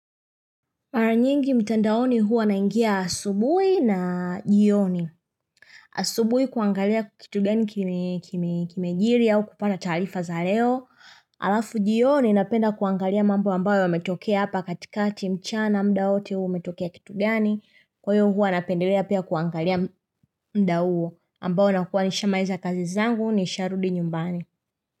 Mara nyingi mtandaoni huwa naingia asubuhi na jioni. Asubuhi kuangalia kitu gani kimejiri au kupata taarifa za leo. Alafu jioni napenda kuangalia mambo ambayo yametokea hapa katikati mchana muda wowote uwe umetokea kitu gani. Kwa hiyo huwa napendelea pia kuangalia muda huo ambayo nakuwa nishamaliza kazi zangu nisharudi nyumbani.